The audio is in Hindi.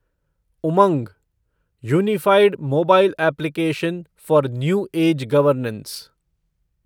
Umang unified mobile application for new age governance